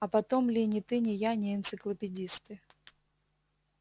а потом ли ни ты ни я не энциклопедисты